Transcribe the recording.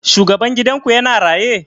Shugaban gidan ku ya na raye?